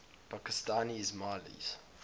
pakistani ismailis